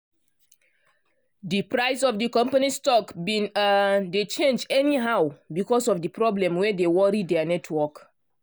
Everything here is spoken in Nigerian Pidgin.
di price of di company's stock bin um dey change anyhow because of di problem wey dey worry dia network. um